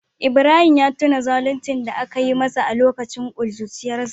Ibrahim ya tuna zaluncin da aka yi masa a lokacin kuruciyarsa